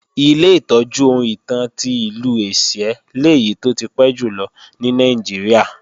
Ilé ìtọ́jú ohun ìtàn ti Ìlú Ẹ̀sìẹ́ lèyí tó ti pẹ́ jùlọ ní Nàìjíríà